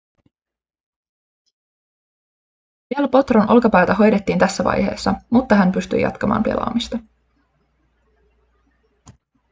del potron olkapäätä hoidettiin tässä vaiheessa mutta hän pystyi jatkamaan pelaamista